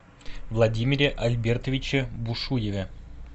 владимире альбертовиче бушуеве